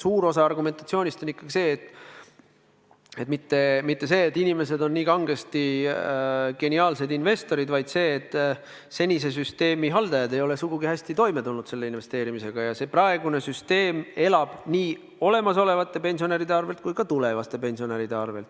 Suur osa argumentatsioonist pole mitte see, et inimesed on kangesti geniaalsed investorid, vaid see, et senise süsteemi haldajad ei ole investeerimisega sugugi hästi toime tulnud ja senine süsteem elab nii praeguste kui ka tulevaste pensionäride arvel.